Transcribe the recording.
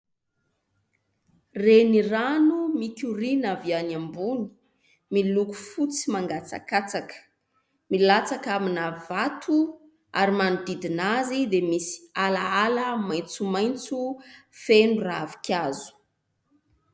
Renirano mikoriana avy any ambony miloko fotsy mangatsakatsaka. Milatsaka amina vato ary manodidina azy dia misy alaala maintsomaintso feno ravin-kazo.